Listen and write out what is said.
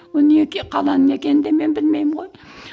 қаланың не екенін де мен білмеймін ғой